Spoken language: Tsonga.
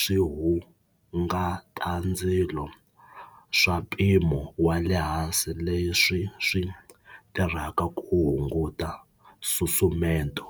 swihungatandzilo swa mpimo wa le hansi leswi swi tirhaka ku hunguta nsusumeto.